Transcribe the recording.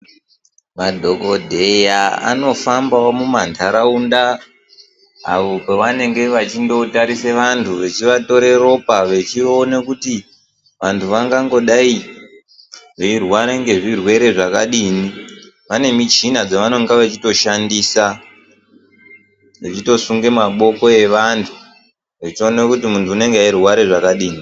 Madhokodheya anofambawo mumandaraunda apo pavanenge vachitarisa vantu vachivatora ropa vachiona kuti vantu vangangodai veirwara ngezvirwere zvakadini vane muchina dzavanenge vachitoshandisa vachitosunga maboko evantu vachiona kuti muntu anenge achirwara zvakadini